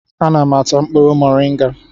Ana m ata mkpụrụ moringa